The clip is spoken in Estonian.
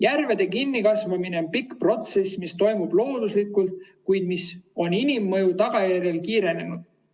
" Järvede kinnikasvamine on pikk protsess, mis toimub looduslikult, kuid mis on inimmõju tagajärjel kiirenenud.